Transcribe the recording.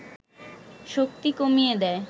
শক্তি কমিয়ে দেয়